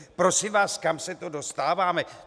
Prosím vás, kam se to dostáváme?